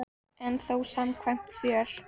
En þó samkvæmt fjöl